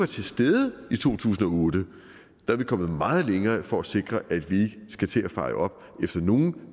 til stede i to tusind og otte er vi kommet meget længere for at sikre at vi skal til at feje op efter nogen